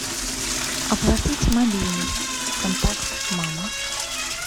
оплатить мобильный контакт мама